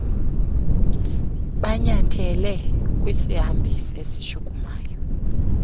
banyathele kwisihambisi esishukumayo